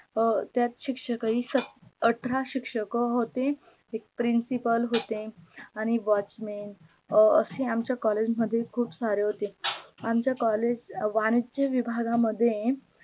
त्यात शिक्षक ही अठरा शिक्षक होते एक principle होते आणी WATCHMAN असे आमच्या collage मध्ये खूप सारे होते आमच्या COLLEGE वाणीच्या विभागा मध्ये